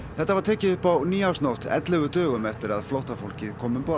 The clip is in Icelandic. þetta var tekið upp á nýársnótt ellefu dögum eftir að flóttafólkið kom um borð